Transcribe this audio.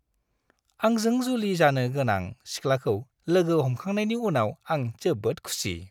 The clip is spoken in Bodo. आंजों जुलि जानो गोनां सिख्लाखौ लोगो हमखांनायनि उनाव आं जोबोद खुसि।